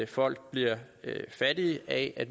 folk bliver fattige af at